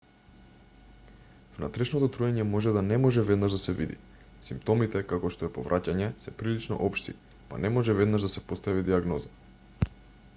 внатрешното труење може да не може веднаш да се види симптомите како што е повраќање се прилично општи па не може веднаш да се постави дијагноза